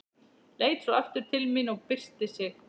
Leit svo aftur til mín og byrsti sig.